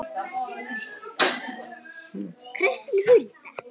Kristín Hulda.